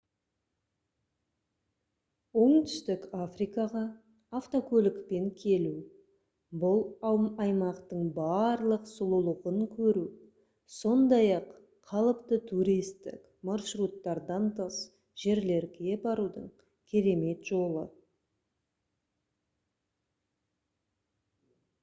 оңтүстік африкаға автокөлікпен келу бұл аймақтың барлық сұлулығын көру сондай-ақ қалыпты туристік маршруттардан тыс жерлерге барудың керемет жолы